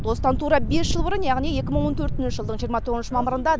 осыдан тура бес жыл бұрын яғни екі мың он төртінші жылдың жиырма тоғызыншы мамырында